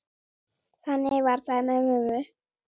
Þannig var það með mömmu.